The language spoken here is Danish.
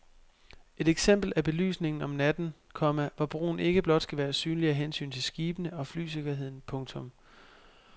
Et eksempel er belysningen om natten, komma hvor broen ikke blot skal være synlig af hensyn til skibene og flysikkerheden. punktum